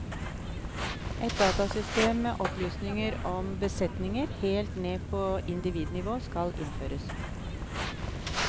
Et datasystem med opplysninger om besetninger, helt ned på individnivå, skal innføres.